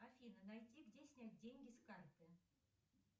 афина найди где снять деньги с карты